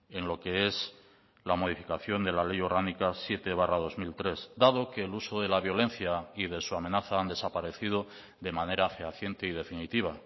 en lo que es la modificación de la ley orgánica siete barra dos mil tres dado que el uso de la violencia y de su amenaza han desaparecido de manera fehaciente y definitiva